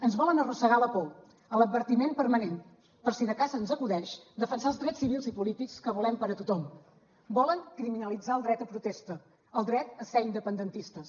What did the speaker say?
ens volen arrossegar a la por a l’advertiment permanent per si de cas se’ns acudeix defensar els drets civils i polítics que volem per a tothom volen criminalitzar el dret a protesta el dret a ser independentistes